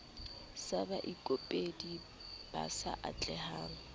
sa baikopedi ba sa atlehang